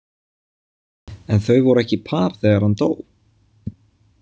En þau voru ekki par þegar hann dó?